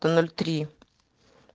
то ноль три